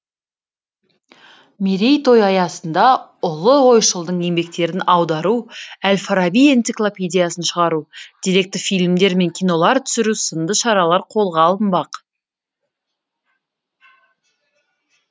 мерейтой аясында ұлы ойшылдың еңбектерін аудару әл фараби энциклопедиясын шығару деректі фильмдер мен кинолар түсіру сынды шаралар қолға алынбақ